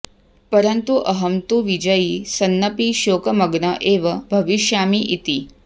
परन्तु अहं तु विजयी सन्नपि शोकमग्न एव भविष्यामि इति